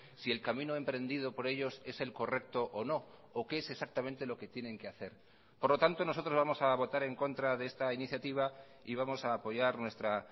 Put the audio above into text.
si el camino emprendido por ellos es el correcto o no o qué es exactamente lo que tienen que hacer por lo tanto nosotros vamos a votar en contra de esta iniciativa y vamos a apoyar nuestra